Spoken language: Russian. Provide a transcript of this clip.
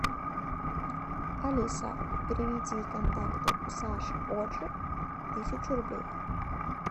алиса переведи контакту саша оджи тысячу рублей